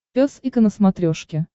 пес и ко на смотрешке